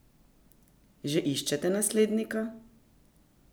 Že iščete naslednika?